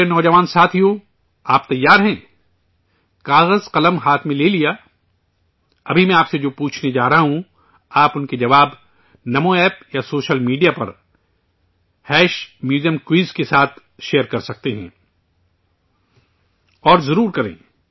میرے نوجوان ساتھیو آپ تیار ہیں، کاغذ قلم ہاتھ میں لے لیا؟ ابھی میں آپ سے جو پوچھنے جا رہا ہوں، آپ ان کے جواب نمو App یا سوشل میڈیا پر میوزیمکویز کے ساتھ شیئر کر سکتے ہیں اور ضرور کریں